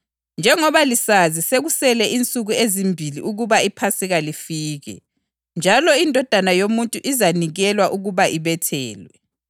“Njengoba lisazi, sekusele insuku ezimbili ukuba iPhasika lifike, njalo iNdodana yoMuntu izanikelwa ukuba ibethelwe.”